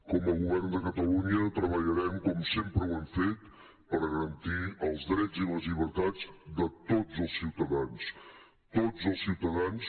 com a govern de catalunya treballarem com sempre ho hem fet per garantir els drets i les llibertats de tots els ciutadans tots els ciutadans